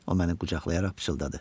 O məni qucaqlayaraq pıçıldadı.